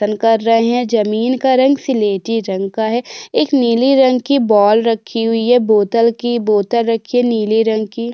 आसन कर रहे हैं ज़मीन का रंग सिलेटी रंग का है एक नीली रंग की बॉल रखी हुई है बोतल की बोतल रखी है नीली रंग की।